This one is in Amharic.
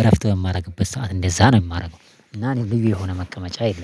እረፍት በማደግበት ሰዓት እንደዛ ነው የማደርገው። እና እኔ ልዩ የሆነ መቀመጫ የለም